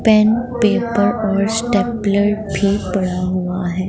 Pen paper और stapler भी पड़ा हुआ है।